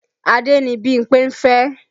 Adé ni Bímpé ń fẹ́